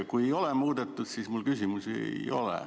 Kui ei ole muudetud, siis mul küsimusi ei ole.